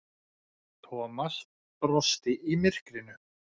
Thomas brosti í myrkrinu.